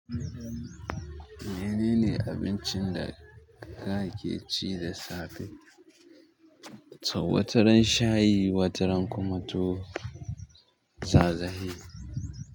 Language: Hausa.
Menene abincin da kake ci da safe? To, wataran shayi, wataran kuma tuwo, sazahi.